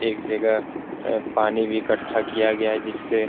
एक जगह पानी भी इकट्ठा किया गया है जिससे --